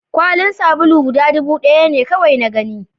kwalin sabuli guda dubu ɗaya ne kawai na gani